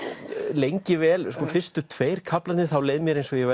lengi vel sko fyrstu tveir kaflarnir þá leið mér eins og ég